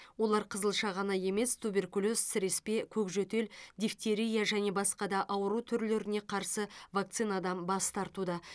олар қызылша ғана емес туберкулез сіреспе көкжөтел дифтерия және басқа да ауру түрлеріне қарсы вакцинадан бас тартуда